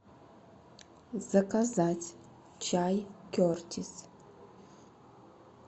заказать чай кертис